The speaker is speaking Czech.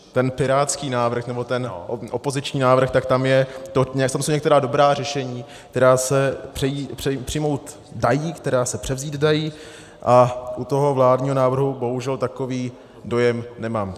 Ten pirátský návrh, nebo ten opoziční návrh, tak tam jsou některá dobrá řešení, která se přijmout dají, která se převzít dají, a u toho vládního návrhu bohužel takový dojem nemám.